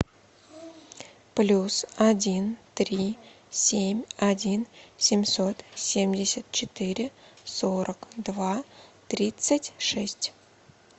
плюс один три семь один семьсот семьдесят четыре сорок два тридцать шесть